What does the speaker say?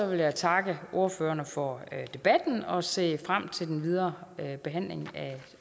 vil jeg takke ordførerne for debatten og se frem til den videre behandling